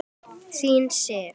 Þín Sif.